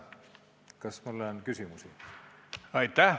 Kas mulle on küsimusi?